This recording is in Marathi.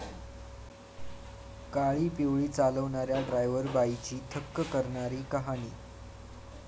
काळीपिवळी चालवणाऱ्या 'ड्रायव्हर बाई'ची थक्क करणारी कहाणी